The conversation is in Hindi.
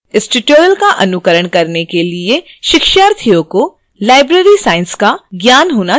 इस tutorial का अनुकरण करने के लिए शिक्षार्थियों को library science का ज्ञान होना चाहिए